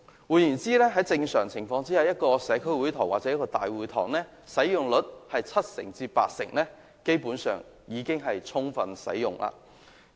換言之，在正常情況下，如果一個社區會堂或大會堂的使用率達七至八成，基本上已是充分使用。